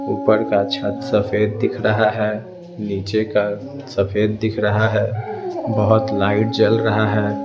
ऊपर का छत सफेद दिख रहा है नीचे का सफेद दिख रहा है बहुत लाइट जल रहा है।